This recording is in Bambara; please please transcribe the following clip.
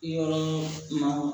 Yɔrɔ ma